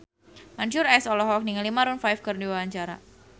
Mansyur S olohok ningali Maroon 5 keur diwawancara